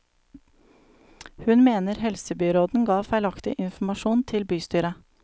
Hun mener helsebyråden ga feilaktig informasjon til bystyret.